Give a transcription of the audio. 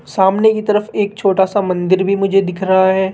सामने की तरफ एक छोटा सा मंदिर भी मुझे दिख रहा है।